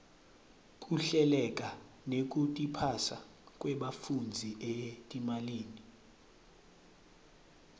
kuhleleka nekutiphasa kwebafundzi etimalini